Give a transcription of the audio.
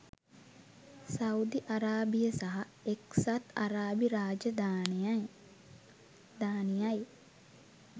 Saudi අරාබිය සහ එක්සත් අරාබි රාජධානියයි.